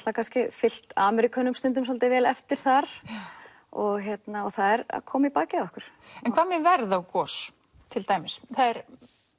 fylgt Ameríkönum svolítið vel eftir þar og það er að koma í bakið á okkur en hvað með verð og gos til dæmis það er